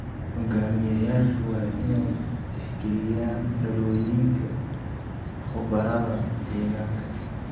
Hoggaamiyeyaashu waa inay tixgeliyaan talooyinka khubarada deegaanka.